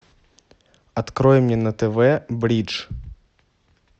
открой мне на тв бридж